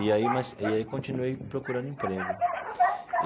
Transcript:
E aí mas e aí eu continuei procurando emprego.